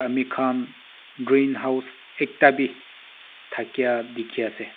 mi khan green house ekta bi thakia dikhi ase.